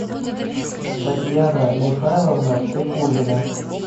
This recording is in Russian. татьяна михайловна пикулина